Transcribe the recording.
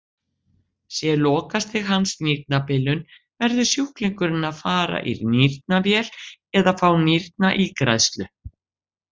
Sé lokastig hans nýrnabilun verður sjúklingurinn að fara í nýrnavél eða fá nýrnaígræðslu.